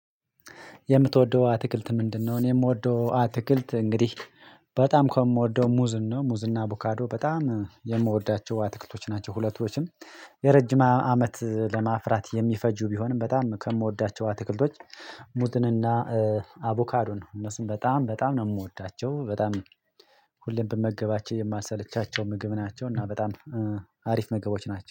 የምትወደው ትግልት ምንድነው? እኔ የምወደው አትክልት እንግዲህ በጣም ከምወደው ሙዝን ነው ሙዝና አቡካዶ በጣም የምወዳቸው አትክልቶች ናቸው። ሁለቶችም የረጅም አመት ለማፍራት የሚፈጁ ቢሆንም በጣም ከምወዳቸው አትክልቶች ሙዝንና አቮካዶ ነው። እነሱን በጣም በጣም ነው የምወዳቸው በጣም ሁሌም ብመገባቸው የማልሰለቻቸው ምግብ ናቸው። እና በጣም አሪፍ ምግቦች ናቸው